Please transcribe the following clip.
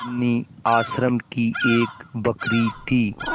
बिन्नी आश्रम की एक बकरी थी